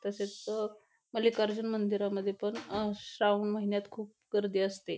तसेच अ मलिकाअर्जुन मंदिरामध्ये पन श्रावण महिन्यात खूप गर्दी असते.